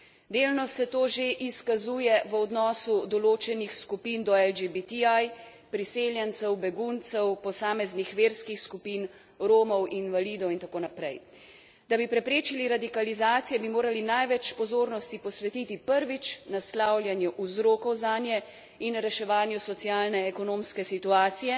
Delno se to že izkazuje v odnostu določenih skupin do LGBTI, priseljencev, beguncev, posameznih verskih skupin, Romov, invalidov itd. Da bi preprečili radikalizacije, bi morali največ pozornosti posvetiti prvič naslavljanju vzrokov zanje in reševanju socialno ekonomske situacije